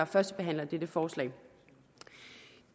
førstebehandler dette forslag